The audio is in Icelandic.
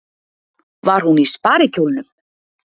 Var hún í sparikjólnum?